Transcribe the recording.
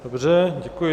Dobře, děkuji.